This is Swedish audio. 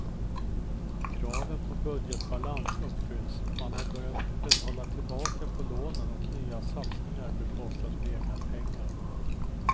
Kraven på budgetbalans uppfylls, man har börjat betala tillbaka på lånen och nya satsningar bekostas med egna pengar.